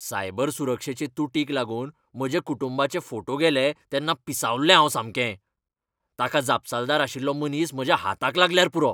Cyber सुरक्षेचे तूटीक लागून म्हज्या कुटुंबाचे फोटो गेले तेन्ना पिसावल्लें हांव सामकें. ताका जपसालदार आशिल्लो मनीस म्हज्या हाताक लागल्यार पुरो!